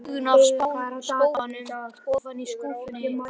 Augun af spóanum ofan í skúffuna aftur.